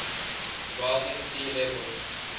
rising sea levels